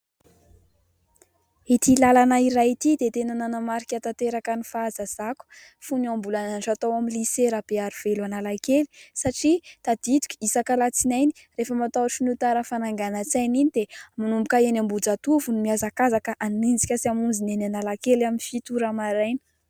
Ity lalana iray ity dia tena nanamarika tanteraka ny fahazazako fony aho mbola nianatra tao amin'ny "lycée" Rabearivelo Analakely satria tadidiko isak'alatsinainy rehefa matahotra ny ho tara fananganan-tsaina iny dia manomboka eny Ambohijatovo no mihazakazaka hanenjika sy hamonjy ny eny Analakely amin'ny fito ora maraina